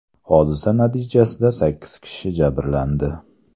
Hodisa natijasida sakkiz kishi jabrlandi.